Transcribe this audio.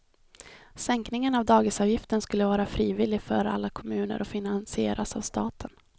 Sänkningen av dagisavgiften skulle vara frivillig för alla kommuner och finansieras av staten.